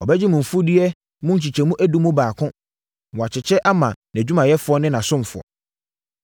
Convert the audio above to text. Ɔbɛgye mo mfudeɛ mu nkyɛmu edu mu baako, na wakyekyɛ ama nʼadwumayɛfoɔ ne nʼasomfoɔ.